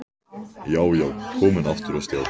Já, já, komin aftur á stjá!